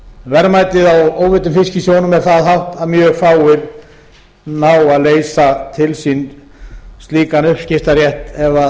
verðmætið á óveiddum fiski í sjónum er það hátt að mjög fáir ná að leysa til slíkan uppskiptarétt ef